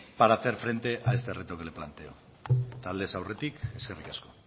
para hacer frente a este reto que le planteo aldez aurretik eskerrik asko